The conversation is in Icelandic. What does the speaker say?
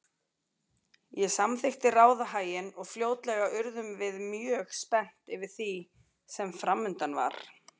Ég samþykkti ráðahaginn og fljótlega urðum við mjög spennt yfir því sem framundan var.